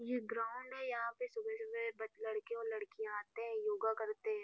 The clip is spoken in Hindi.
ये ग्राउंड है यहाँ पे सुबह-सुबह ब लड़के और लड़कियाँ आते हैं योगा करते हैं।